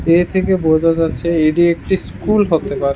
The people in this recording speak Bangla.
এর থেকে বোঝা যাচ্ছে এটি একটি স্কুল হতে পারে।